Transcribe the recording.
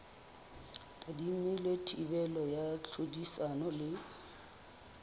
tadimilwe thibelo ya tlhodisano le